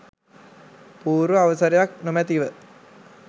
පූර්ව අවසරයක් නොමැතිව